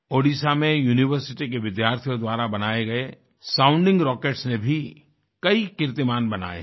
ओडिशा में यूनिवर्सिटी के विद्यार्थियों द्वारा बनाए गए साउंडिंग रॉकेट्स ने भी कई कीर्तिमान बनाए हैं